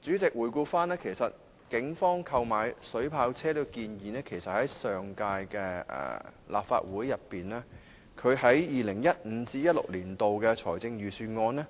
主席，回顧警方提出購買水炮車的建議......其實，在上屆立法會會期，警務處已於 2015-2016 年度的財政預算案中